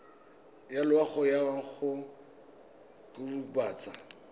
ya loago ya go kokobatsa